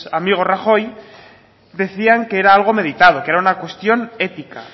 amigo rajoy decían que era algo meditado que era una cuestión ética